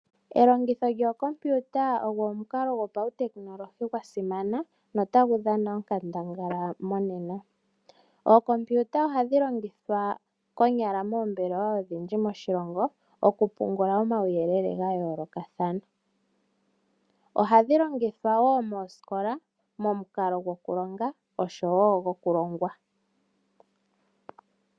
Elongitho lyokompiuta olyo omukalo gwopautekinolohi gwa simana notagu dhana onkandangala monena. Ookompiuta ohadhi longithwa konyala moombelewa odhindji moshilongo, oku pungula omauyelele ga yoolokathana. Ohadhi longithwa wo moosikola, momukalo gwoku longa oshowo gwokulongwa.